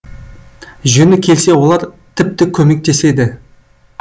жөні келсе олар тіпті көмектеседі